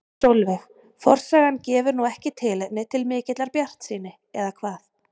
Sólveig: Forsagan gefur nú ekki tilefni til mikillar bjartsýni eða hvað?